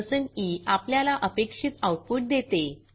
percent ई आपल्याला अपेक्षित आऊटपुट देते